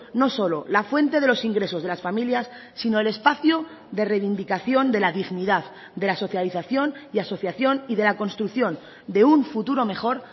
no solo la fuente de los ingresos de las familias sino el espacio de reivindicación de la dignidad de la socialización y asociación y de la construcción de un futuro mejor